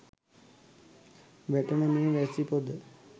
වැටෙන මේ වැසි පොද